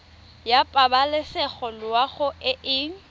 ya pabalesego loago e e